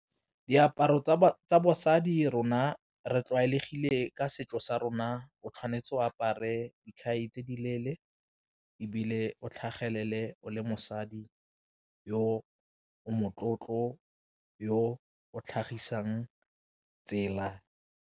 Diaparo tsa basadi rona re tlwaelegile ka setso sa rona o tshwanetse o apare dikhai tse di leele, ebile o tlhagelele o le mosadi yo o motlotlo yo o tlhagisang tsela.